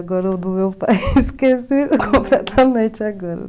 Agora o do meu pai, esqueci completamente agora.